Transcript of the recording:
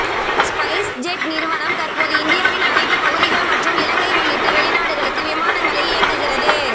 SpiceJet நிறுவனம் தற்போது இந்தியாவின் அனைத்துப் பகுதிகள் மற்றும் இலங்கை உள்ளிட்ட வெளிநாடுகளுக்கு விமானங்களை இயக்குகிறது